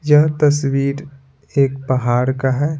यह तस्वीर एक पहाड़ का है।